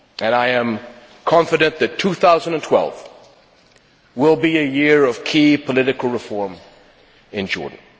I am confident that 2012 will be a year of key political reform in Jordan.